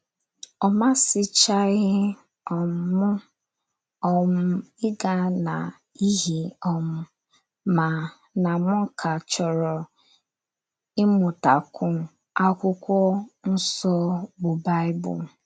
Ọ masịchaghị um m um ịga n’ihi um ma na m ka chọrọ ịmụtakwu akwụkwọ nso bụ Baịbụl.